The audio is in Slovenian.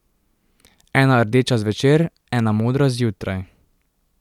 Ena rdeča zvečer, ena modra zjutraj.